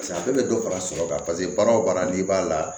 Paseke a bɛɛ bɛ dɔ fara sɔrɔ kan paseke baara o baara n'i b'a la